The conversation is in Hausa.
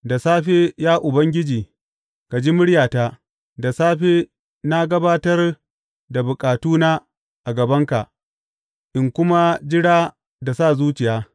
Da safe, ya Ubangiji, ka ji muryata; da safe na gabatar da bukatuna a gabanka in kuma jira da sa zuciya.